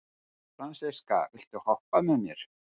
Fransiska, viltu hoppa með mér?